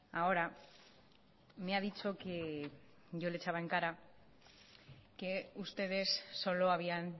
ahora me ha dicho que yo le echaba en cara que ustedes solo habían